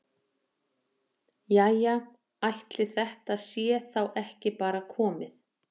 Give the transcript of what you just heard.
Jæja ætli þetta sé þá ekki bara komið.